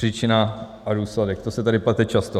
Příčina a důsledek, to se tady plete často.